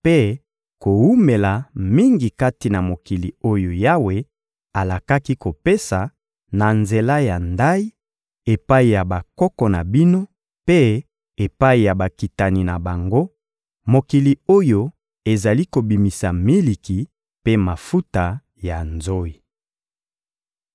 mpe kowumela mingi kati na mokili oyo Yawe alakaki kopesa, na nzela ya ndayi, epai ya bakoko na bino mpe epai ya bakitani na bango, mokili oyo ezali kobimisa miliki mpe mafuta ya nzoyi.